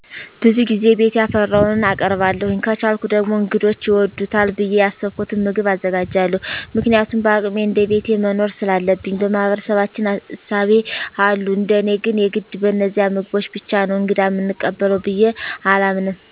ብዙ ጊዜ ቤት ያፈራዉን አቀርባለዉ። ከቻልኩ ደግሞ እንግዶቸ ይወዱታል ብየ ያሰብኩትን ምግብ አዘጋጃለዉ። ምክንያቱም በአቅሜ እንደቤቴ መኖር ሰላለብኝ። በማህበረሰባችን እሳቤ አሉ እንደኔ ግን የግድ በነዚያ ምግቦች ብቻ ነዉ እንግዳ ምንቀበለዉ ብየ አላምንም።